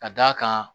Ka d'a kan